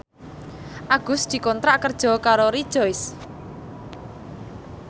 Agus dikontrak kerja karo Rejoice